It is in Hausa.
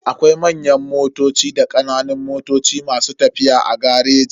Akwai manyan motoci da kananan motoci masu tafiya a gareji.